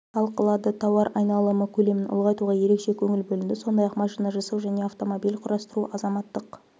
талқылады тауар айналымы көлемін ұлғайтуға ерекше көңіл бөлінді сондай-ақ машина жасау және автомобиль құрастыру азаматтық